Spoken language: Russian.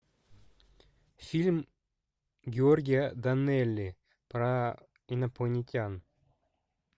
фильм георгия данелия про инопланетян